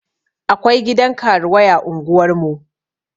Akwai gidan karuwai a unguwar mu